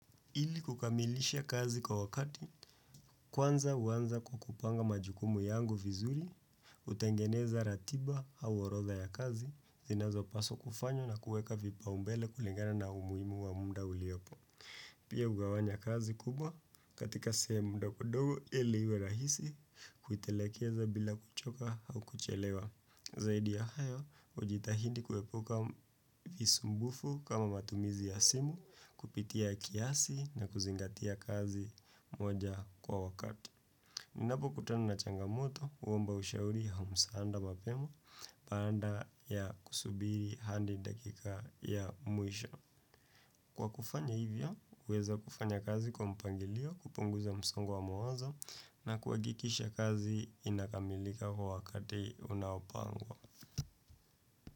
Ili kukamilisha kazi kwa wakati, kwanza huanza kwa kupanga majukumu yangu vizuri, kutengeneza ratiba au horodha ya kazi, zinazopaswa kufanywa na kuweka vipaumbele kulingana na umuhimu wa muda uliopo. Pia hugawanya kazi kubwa katika siya ndogo ndogo ili iwe rahisi kuitekeleza bila kuchoka au kuchelewa. Zaidi ya hayo, ujitahidi kuepuka visumbufu kama matumizi ya simu kupitia kiasi na kuzingatia kazi moja kwa wakati. Ninapo kutana na changamoto, huomba ushauri au msaada mapema, baada ya kusubiri hadi dakika ya mwisho. Kwa kufanya hivyo, huweza kufanya kazi kwa mpangilio, kupunguza msongo wa mawazoi na kuhakikisha kazi inakamilika kwa wakati unaopangwa.